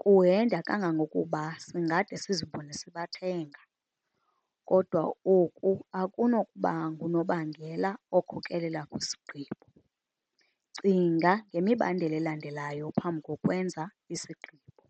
kuhenda kangangokuba singade sizibone sibathenga. Kodwa oku akunokuba ngunobangela okhokelela kwisigqibo. Cinga ngemibandela elandelayo phambi kokwenza isigqibo.